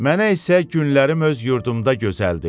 Mənə isə günlərim öz yurdumda gözəldir.